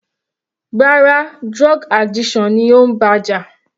Rárá, drug addiction ni ó ń bá jà.